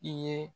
I ye